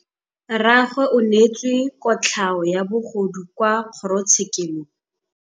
Rragwe o neetswe kotlhaô ya bogodu kwa kgoro tshêkêlông.